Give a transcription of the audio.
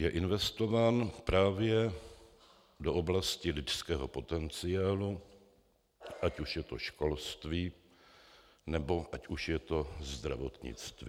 Je investován právě do oblasti lidského potenciálu, ať už je to školství, nebo ať už je to zdravotnictví.